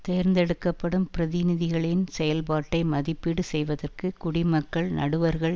தேர்ந்தெடுக்கப்படும் பிரதிநிதிகளின் செயல்பாட்டை மதிப்பீடு செய்வதற்கு குடிமக்கள் நடுவர்கள்